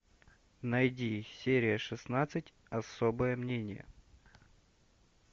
найди серия шестнадцать особое мнение